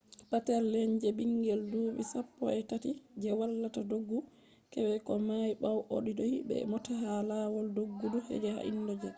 peter lenz bingel dubi sappoi tati je watta doggudu keke o may bawo o do’i be mota ha lawol doggudu je ha indonesia